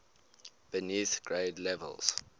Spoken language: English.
beneath grade levels